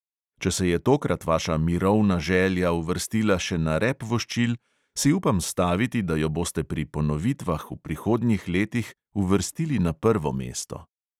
Če se je tokrat vaša mirovna želja uvrstila še na rep voščil, si upam staviti, da jo boste pri ponovitvah v prihodnjih letih uvrstili na prvo mesto.